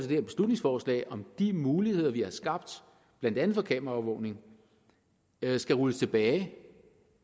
her beslutningsforslag nemlig om de muligheder vi har skabt blandt andet for kameraovervågning skal rulles tilbage